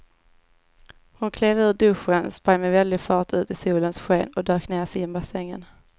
Hon klev ur duschen, sprang med väldig fart ut i solens sken och dök ner i simbassängen.